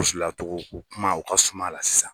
U filatogo ko kuma u ka suma la sisan.